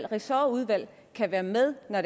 ressortudvalgene kan være med når